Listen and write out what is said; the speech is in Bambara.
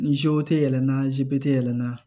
Ni tɛ yɛlɛ n'a tɛ yɛlɛma